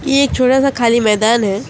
ये एक छोटा सा खाली मैदान है।